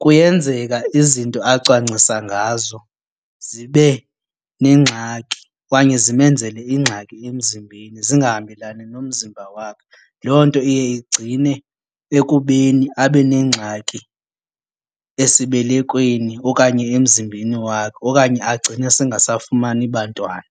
kuyenzeka izinto acwangcisa ngazo zibe neengxaki okanye zimenzele ingxaki emzimbeni zingahambelani nomzimba wakhe. Loo nto iye igcine ekubeni abe neengxaki esibelekweni okanye emzimbeni wakhe okanye agcine sengasafumani bantwana.